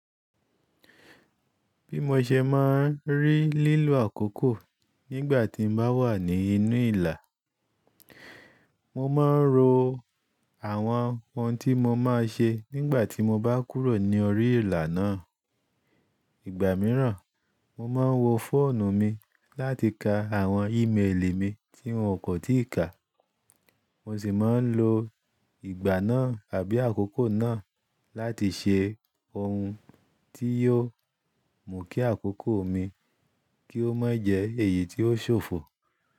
Bí mo ṣe máa ń rí lílo àkókò nígbà tí n bá wà ní inú ìlà, mo máa ń ro àwọn ohun tí mo máa ṣe nígbà tí mo bá kúrò ní orí ìlà náà. Ìgbà mìíràn, mo máa ń wo fóònù mi láti ka àwọn ímeèlì mi tí un kò tí ì ka. Mo sì máa ń lo ìgbà náà àbí àkókò náà láti ṣe ohun tí yóò mú kí àkókò mi kí ó má jẹ èyí tí ó ṣòfò.